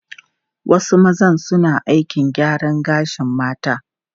Wasu maza suna aikin gyaran gashin mata.